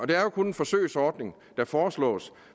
det er jo kun en forsøgsordning der foreslås